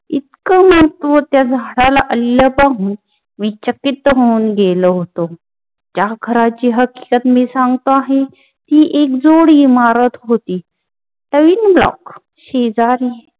इतकं महत्व त्या झाडाला आल्याचा विचकित गेलो हुतो. त्या घराची हकीकत मी सांगतो आहे, मी एक जोडी मारत होती तरी शेजारी